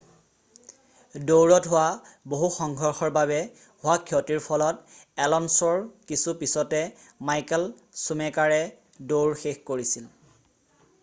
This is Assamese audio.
দৌৰত হোৱা বহু সংঘৰ্ষৰ বাবে হোৱা ক্ষতিৰ ফলত এলনছ'ৰ কিছু পিছতে মাইকেল চুমেকাৰে দৌৰ শেষ কৰিছিল